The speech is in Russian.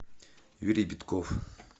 юрий битков